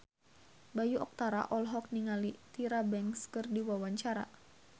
Bayu Octara olohok ningali Tyra Banks keur diwawancara